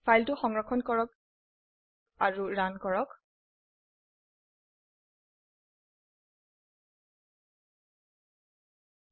ফাইলটি সংৰক্ষণ কৰো আৰু ৰান কৰো